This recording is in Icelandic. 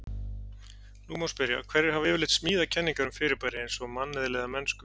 Nú má spyrja: hverjir hafa yfirleitt smíðað kenningar um fyrirbæri eins og manneðli eða mennsku?